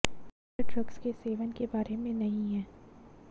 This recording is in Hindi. यह ड्रग्स के सेवन के बारे में नहीं है